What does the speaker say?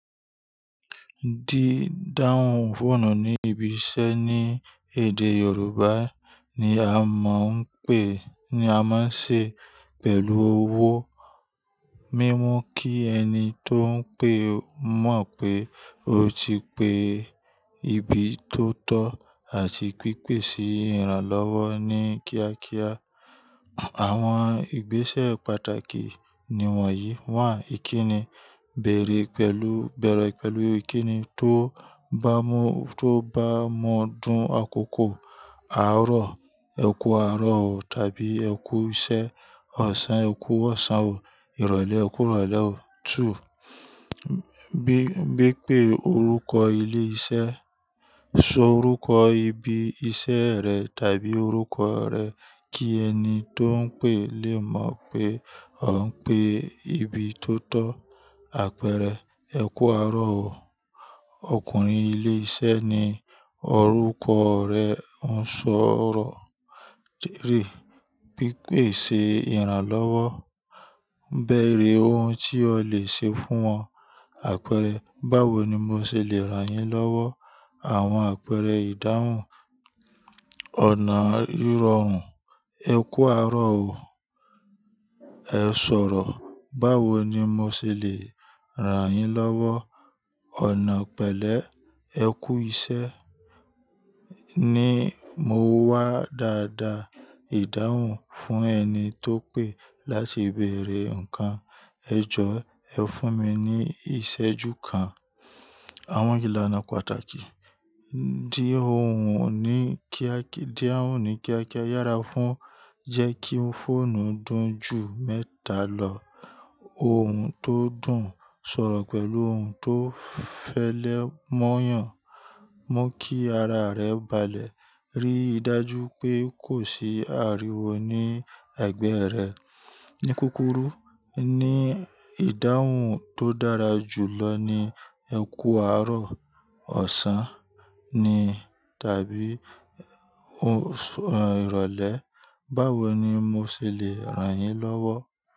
Dídáhun fóònù ní ibi iṣẹ́ ní èdè Yorùbá ni a máa ń pè, ní a máa ń ṣe pẹ̀lú owó. Mímú kí ẹni tó ń pè mọ̀ pé o ti pe ibi tó tọ́ àti pípèsè ìrànlọ́wọ́ ní kíákíá. Àwọn ìgbésẹ̀ pàtàkì niwọ̀nyí: ìkíni, bèèrè pẹ̀lú, bẹ̀rẹ̀ pẹ̀lú ìkíni tó bá mọ, tó bá mọ dùn àkókò. Àárọ̀, ẹ kú àárọ̀ o tàbí ẹ kú iṣẹ́. Ọ̀sán, ẹ kú ọ̀sán o. Ìrọ̀lẹ́, ẹ kú ìrọ̀lẹ́ o. Bí, bí pé orúkọ ilé iṣẹ́. Sọ orúkọ ibi iṣẹ́ rẹ tàbí orúkọ rẹ kí ẹni tó ń pè lè mọ̀ pé o ń pe ibi tó tọ́. Àpẹẹrẹ: ẹ kú àárọ̀ o. Ọkùnrin ilé iṣẹ́ ni orúkọ rẹ̀ ń sọ̀rọ̀. Pípèsè ìrànlọ́wọ́. Bẹ̀rẹ̀ ohun tí o lè ṣe fún wọn. Àpẹẹrẹ: báwo ni mo ṣe le ràn yín lọ́wọ́? Àwọn àpẹẹrẹ ìdáhùn. Ọ̀nà ìrọrùn. Ẹ kú àárọ̀ o, ẹ sọ̀rọ̀. Báwo ni mo ṣe le ràn yín lọ́wọ́? Ọ̀nà pẹ̀lẹ́. Ẹ kú iṣẹ́. Ni mo wá dáadáa. Ìdáhùn fún ẹni tó ń pè láti bèrè ǹkan. Ẹ jọ, ẹ fún mi ní ìṣẹ́ju kan. Àwọn ìlànà pàtàkì. Dí ohùn ní kíá, dahun ní kíákíá yára fún. Jẹ́ kí fóònù dùn ju mẹ́ta lọ. Ohun tó dùn, sọ̀rọ̀ pẹ̀lú ohun tó fẹlẹ́ mọ́'yàn. Mu kí ara rẹ balẹ̀. Rí i dájú pé kò sí ariwo ní ẹ̀gbẹ́ rẹ. Ni kúkúrú ni ìdáhùn tó dára jù lọ ni ẹ kú àárọ̀, ọ̀sán ni tàbí, o ṣé, ìrọ̀lẹ́. Báwo ni mo ṣe le ràn yín lọ́wọ́?